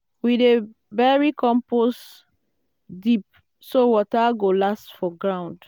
we dey bury compost deep so water go last for ground.